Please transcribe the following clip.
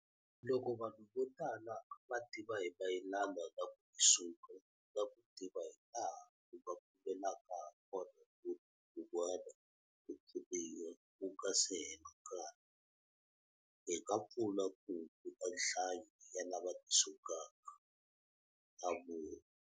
Loko vanhu vo tala va tiva hi mayelana na ku tisunga na ku tiva hilaha u nga kumelaka hakona munhu un'wana ku pfuniwa ku nga se hela nkarhi, hi nga pfuna ku hunguta nhlayo ya lava tisungaka, a vula.